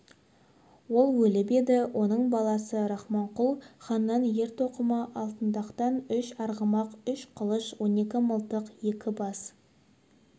ол өліп еді оның баласы рахманқұл ханнан ер-тоқымы алтындатқан үш арғымақ үш қылыш он екі мылтық екі бас